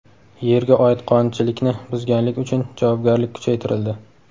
Yerga oid qonunchilikni buzganlik uchun javobgarlik kuchaytirildi.